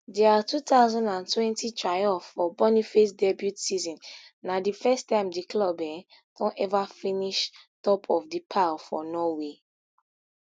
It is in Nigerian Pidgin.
dia two thousand and twenty triumph for boniface debut season na di first time di club um don ever finish top of di pile for norway